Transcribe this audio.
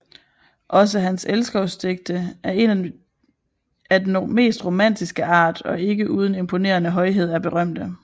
Også hans elskovsdigte af den mest romantiske art og ikke uden imponerende højhed er berømte